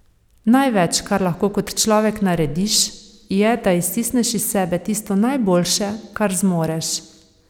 Največ, kar lahko kot človek narediš, je, da iztisneš iz sebe tisto najboljše, kar zmoreš.